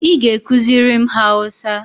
Ị ga ekuziri m hausa?